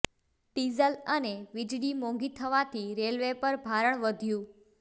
diesel અને વિજળી મોંઘી થવાથી રેલવે પર ભારણ વધ્યુ